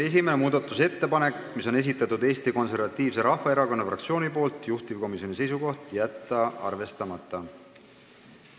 Esimene muudatusettepanek, mille on esitanud Eesti Konservatiivse Rahvaerakonna fraktsioon, juhtivkomisjoni seisukoht: jätta arvestamata.